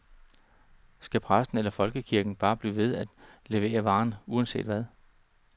Skal præsten eller folkekirken bare blive ved at levere varen, uanset hvad?